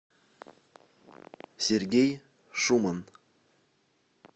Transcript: сергей шуман